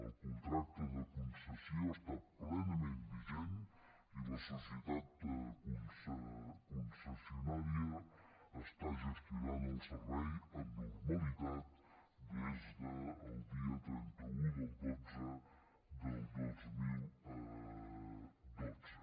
el contracte de concessió està plenament vigent i la societat concessionària està gestionant el servei amb normalitat des del dia trenta un del xii del dos mil dotze